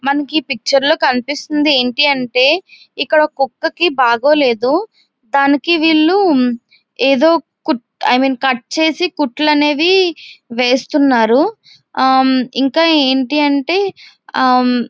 మనకి ఈ పిక్చర్ లో కనిపిస్తుంది ఏంటి అంటే ఇక్కడ ఒక్క కుక్కకి బాగోలేదు. దానికీ వీళ్లు ఏదో కుట్ ఐ మీన్ కట్ చేసి కుట్లు అనేవి వేస్తున్నారు.ఇంకా ఏంటి అంటే అమ్మ్--